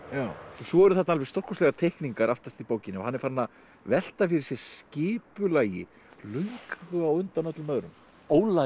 svo eru þarna stórkostlegar teikningar aftast í bókinni hann er farinn að velta fyrir sér skipulagi löngu á undan öllum öðrum